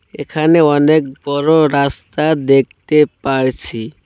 এখানে অনেক বড় রাস্তা দেখতে পারছি।